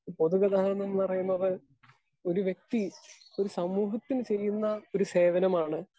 Speaker 2 പൊതുഗതാഗതംന്ന് പറയുന്നത് ഒരുവ്യക്തി ഒരു സമൂഹത്തിന് ചെയ്യുന്ന ഒരു സേവനമാണ്.